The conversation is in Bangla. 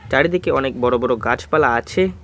চারিদিকে অনেক বড় বড় গাছপালা আছে।